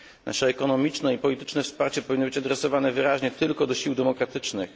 Nasze ekonomiczne i polityczne wsparcie powinno być adresowane wyraźnie tylko do sił demokratycznych.